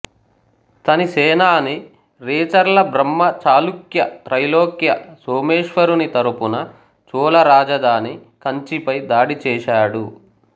తని సేనాని రేచర్ల బ్రహ్మ చాళుక్య త్రైలోక్య సోమేశ్వరుని తరపున చోళరాజధాని కంచి పై దాడి చేశాడు